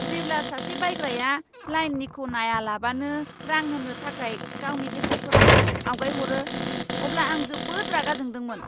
जेब्ला सासे बायग्राया लाइननिखौ नायालाबानो रां होनो थाखाय गावनि बेसादफोरखौ आवगायहरो, अब्ला आं जोबोद रागा जोंदोंमोन।